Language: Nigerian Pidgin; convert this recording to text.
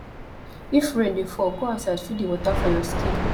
if rain dey fall go outside feel di water for your skin